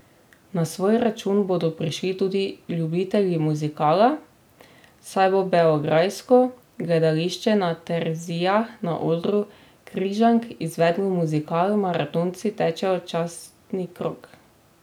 Na svoj račun bodo prišli tudi ljubitelji muzikala, saj bo beograjsko Gledališče na Terezijah na odru Križank izvedlo muzikal Maratonci tečejo častni krog.